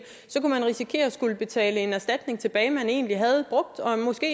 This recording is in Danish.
kunne risikere at skulle betale en erstatning tilbage man egentlig havde brugt og måske